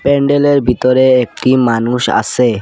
প্যান্ডেলের ভিতরে একটি মানুষ আসে ।